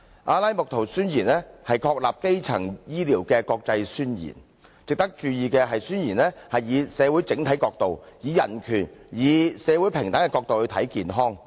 《阿拉木圖宣言》是確立基層醫療的國際宣言，值得注意的是宣言以社會整體角度、以人權及社會平等的角度來看健康。